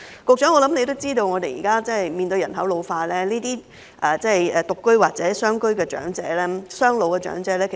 局長也知道，現時面對人口老化問題，獨居或雙老家庭的長者人數會越來越多。